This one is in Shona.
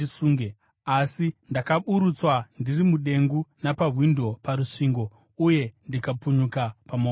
Asi ndakaburutswa ndiri mudengu napawindo parusvingo uye ndikapunyuka pamaoko ake.